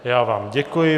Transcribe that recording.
Já vám děkuji.